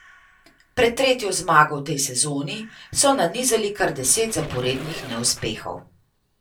Pred tretjo zmago v tej sezoni so nanizali kar deset zaporednih neuspehov.